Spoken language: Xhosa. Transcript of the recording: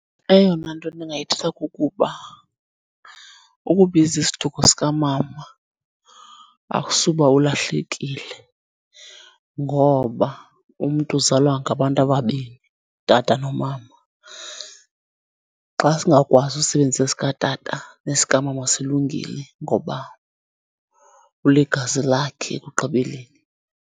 Eyona nto ndingayithetha kukuba ukubiza isiduko sikamama akusuba ulahlekile ngoba umntu uzalwa ngabantu ababini utata nomama. Xa singakwazi usebenzisa esikatata nesikamama silungile ngoba uligazi lakhe ekugqibeleni.